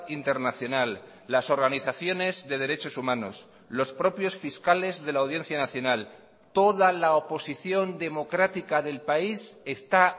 internacional las organizaciones de derechos humanos los propios fiscales de la audiencia nacional toda la oposición democrática del país está